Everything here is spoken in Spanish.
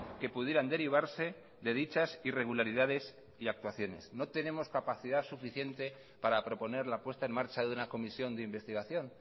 que pudieran derivarse de dichas irregularidades y actuaciones no tenemos capacidad suficiente para proponer la puesta en marcha de una comisión de investigación